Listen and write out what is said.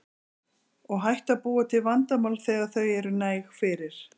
Og hættu að búa til vandamál þegar þau eru næg fyrir.